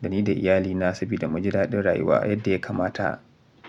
da ni da iyalina saboda mu ji daɗin rayuwa yadda ya kamata.